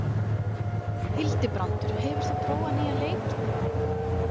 Hildibrandur, hefur þú prófað nýja leikinn?